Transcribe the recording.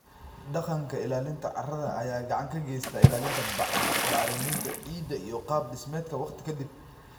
Dhaqanka ilaalinta carrada ayaa gacan ka geysta ilaalinta bacriminta ciidda iyo qaab dhismeedka waqti ka dib.